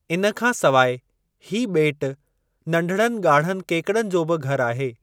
इन खां सवाइ , हीअ बे॒टु नंढड़नि ॻाढ़नि केकड़नि जो बि घरु आहे।